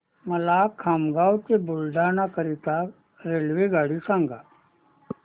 मला खामगाव ते बुलढाणा करीता रेल्वेगाडी सांगा